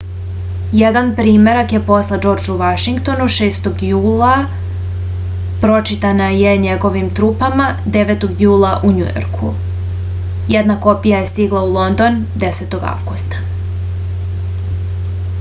jedan primerak je poslat džordžu vašingtonu 6. julaa pročitana je njegovim trupama 9. jula u njujorku jedna kopija je stigla u london 10. avgusta